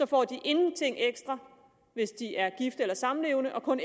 får de ingenting ekstra hvis de er gift eller samlevende og kun